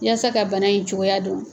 Yasa ka bana in cogoya don.